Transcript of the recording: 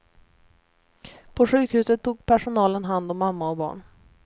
På sjukhuset tog personalen hand om mamma och barn.